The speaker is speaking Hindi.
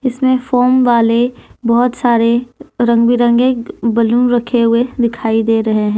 इसमें फोम वाले बहुत सारे रंग बिरंगे बैलून रखे हुए दिखाई दे रहे है।